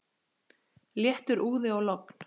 Léttur úði og logn.